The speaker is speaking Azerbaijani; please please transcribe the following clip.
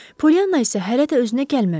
Pollyananna isə hələ də özünə gəlməmişdi.